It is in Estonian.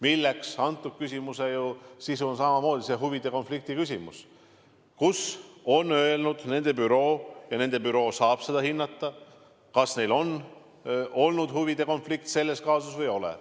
Üks küsimus seejuures on huvide konflikti küsimus ja nende büroo saab hinnata, kas neil on huvide konflikt selles kaasuses või ei ole.